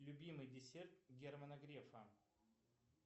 любимый десерт германа грефа